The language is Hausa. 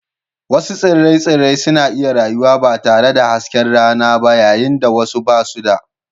Wasu tsire-tsire suna iya rayuwa ba tare da hasken rana ba yayin da wasu ba su da